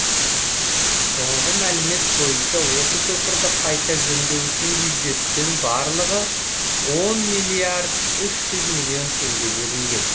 соңғы мәлімет бойынша осы көпірді қайта жөндеу үшін бюджеттен барлығы он миллиард үш жүз миллион теңге бөлінген